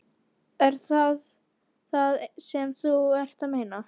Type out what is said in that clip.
Er það það sem þú ert að meina?